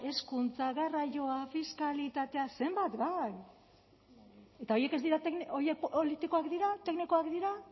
hezkuntza garraioa fiskalitatea zenbat gai eta horiek ez dira horiek politikoak dira teknikoak dira